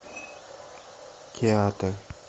театр